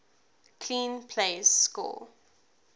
clean plays score